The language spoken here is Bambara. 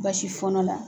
Basi fɔɔnɔ la